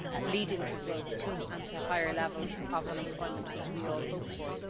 leading to growth and to higher levels of employment, which we all hope for.